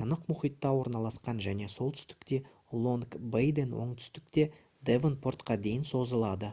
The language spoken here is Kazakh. тынық мұхитта орналасқан және солтүстікте лонг-бейден оңтүстікте девонпортқа дейін созылады